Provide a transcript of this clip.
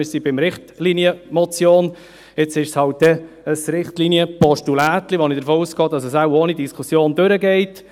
Wir sind bei der Richtlinienmotion, jetzt wird sie dann halt ein «Richtlinienpostulätchen», wobei ich davon ausgehe, dass dieses ohne Diskussion durchkommen wird.